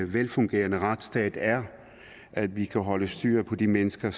velfungerende retsstat er at vi kan holde styr på de mennesker